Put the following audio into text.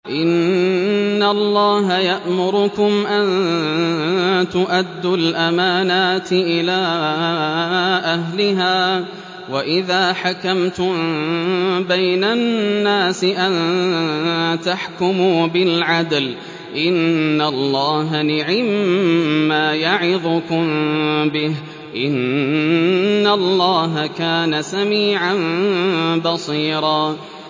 ۞ إِنَّ اللَّهَ يَأْمُرُكُمْ أَن تُؤَدُّوا الْأَمَانَاتِ إِلَىٰ أَهْلِهَا وَإِذَا حَكَمْتُم بَيْنَ النَّاسِ أَن تَحْكُمُوا بِالْعَدْلِ ۚ إِنَّ اللَّهَ نِعِمَّا يَعِظُكُم بِهِ ۗ إِنَّ اللَّهَ كَانَ سَمِيعًا بَصِيرًا